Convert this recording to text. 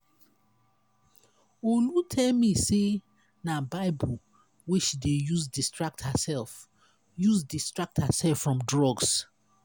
olu tell me say na bible wey she dey use distract herself use distract herself from drugs.